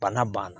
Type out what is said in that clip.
Bana banna